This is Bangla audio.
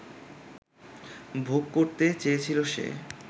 ভোগ করতে চেয়েছিল সে